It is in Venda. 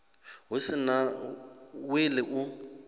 hu si na wili u